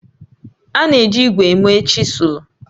A na-eji ígwè eme chịsụlụ